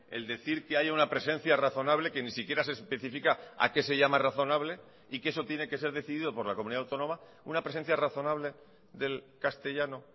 el decir que haya una presencia razonable que ni siquiera se especifica a qué se llama razonable y que eso tiene que ser decidido por la comunidad autónoma una presencia razonable del castellano